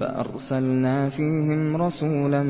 فَأَرْسَلْنَا فِيهِمْ رَسُولًا